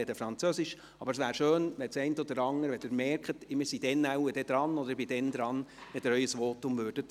Es wäre aber schön, wenn Sie Ihr Votum auf Hochdeutsch halten würden, wenn Sie merken, dass Sie dann dran sind.